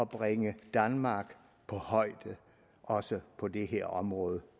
bringe danmark på højde også på det her område